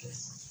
Kɛ